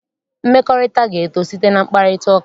Mmekọrịta ga-eto site na mkparịtaụka.